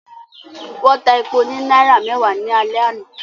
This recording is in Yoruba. Wọ́n ta epo ní náírà mẹ́wàá ní alẹ́ àná